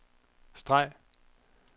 streg